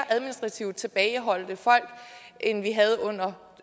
administrativt tilbageholdt end vi havde under